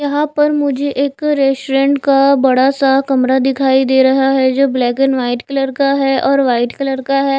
यहां पर मुझे एक रेस्टोरेंट का बड़ा सा कमरा दिखाई दे रहा है जो ब्लैक एंड व्हाइट कलर का है और व्हाइट कलर का है।